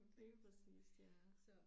Lige præcist ja